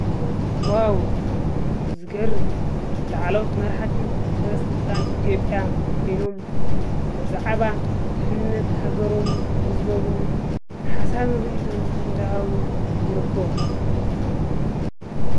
ዋውውውው! ዝገርም! ላዕለዎት መራሕቲ ሰበስልጣን ኢ/ያ ኮይኖም ብዛዕባ ድህንነት ሃገሮምን ህዝቦምን ሓሳብ ሪኢቶ እንዳሃቡ ይርከቡ።